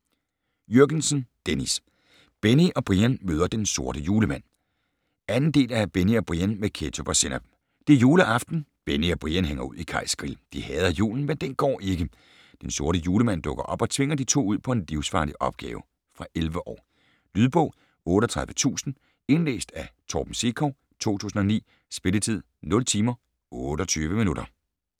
Jürgensen, Dennis: Benny og Brian møder Den Sorte Julemand 2. del af Benny og Brian med ketchup og sennep. Det er juleaften. Benny og Brian hænger ud i Kajs Grill. De hader julen, men den går ikke. Den Sorte Julemand dukker op og tvinger de to ud på en livsfarlig opgave. Fra 11 år. Lydbog 38000 Indlæst af Torben Sekov, 2009. Spilletid: 0 timer, 28 minutter.